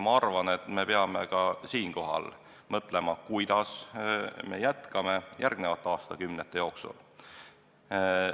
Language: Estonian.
Ma arvan, et me peame nüüd mõtlema, kuidas me jätkame järgmiste aastakümnete jooksul.